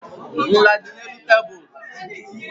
Nla dị n'elu tebụl.